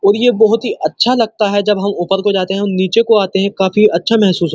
ओर ये बहोत ही अच्छा लगता है जब हम ऊपर को जाते है और नीचे को आते है काफी अच्छा मेहसूस हो --